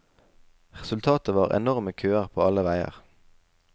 Resultatet var enorme køer på alle veier.